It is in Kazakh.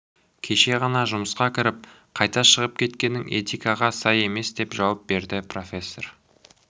кеше ғана жұмысқа кіріп қайта шығып кеткенің этикаға сай емесдеп жауап берді профессор